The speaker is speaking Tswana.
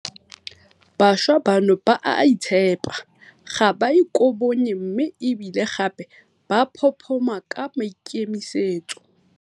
Bašwa bano ba a itshepa, ga ba ikobonye mme e bile gape ba phophoma ka maikemisetso.